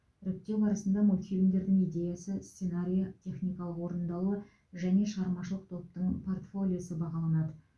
іріктеу барысында мультфильмдердің идеясы сценарийі техникалық орындалуы және шығармашылық топтың портфолиосы бағаланады